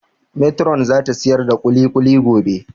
Metiron za ta siyar da kulikuli gobe